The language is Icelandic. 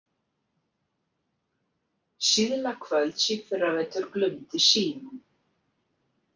Síðla kvölds í fyrravetur glumdi síminn.